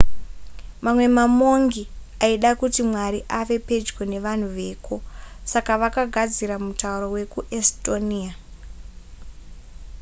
mamwe mamongi aida kuti mwari ave pedyo nevanhu veko saka vakagadzira mutauro wekuestonia